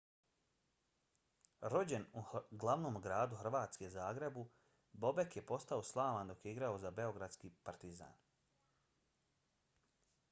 rođen u glavnom gradu hrvatske zagrebu bobek je postao slavan dok je igrao za beogradski partizan